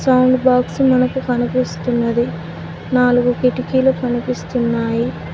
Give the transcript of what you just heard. Box మనకు కనిపిస్తున్నది నాలుగు కిటికీలు కనిపిస్తున్నాయి.